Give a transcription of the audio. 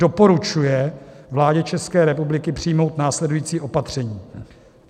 Doporučuje vládě České republiky přijmout následující opatření: